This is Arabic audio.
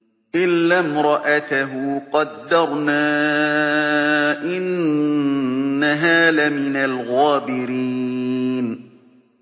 إِلَّا امْرَأَتَهُ قَدَّرْنَا ۙ إِنَّهَا لَمِنَ الْغَابِرِينَ